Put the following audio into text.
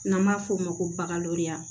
N'an b'a f'o ma ko bagariya